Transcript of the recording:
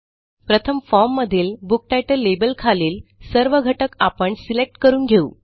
प्रथम फॉर्म मधीलBook title label खालील सर्व घटक आपण सिलेक्ट करून घेऊ